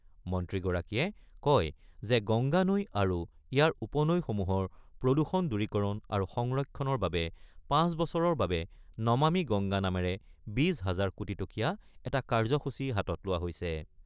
মন্ত্ৰীগৰাকীয়ে কয় যে গংগা নৈ আৰু ইয়াৰ উপনৈসমূহৰ প্ৰদূষণ দূৰীকৰণ আৰু সংৰক্ষণৰ বাবে ৫ বছৰৰ বাবে নমামী গংগা নামেৰে ২০ হাজাৰ কোটিটকীয়া এটা কাৰ্যসূচী হাতত লোৱা হৈছে।